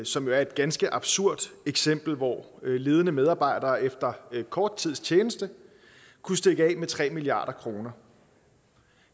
som jo er et ganske absurd eksempel hvor ledende medarbejdere efter kort tids tjeneste kunne stikke af med tre milliard kroner